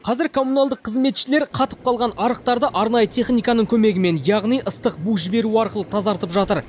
қазір коммуналдық қызметшілер қатып қалған арықтарды арнайы техниканың көмегімен яғни ыстық бу жіберу арқылы тазартып жатыр